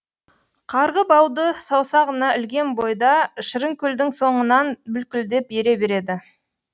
қарғы бауды саусағына ілген бойда шырынкүлдің соңынан бүлкілдеп ере береді